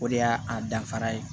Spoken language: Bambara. O de y'a a danfara ye